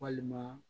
Walima